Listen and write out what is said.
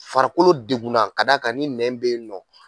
Farikolo degunna ka d'a kan ni nɛn bɛ yen nɔ